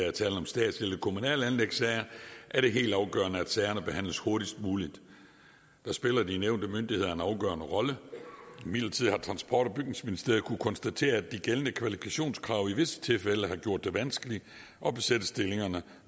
er tale om statslige eller kommunale anlægssager er det helt afgørende at sagerne behandles hurtigst muligt og der spiller de nævnte myndigheder en afgørende rolle imidlertid har transport og bygningsministeriet kunnet konstatere at de gældende kvalifikationskrav i visse tilfælde har gjort det vanskeligt at besætte stillingerne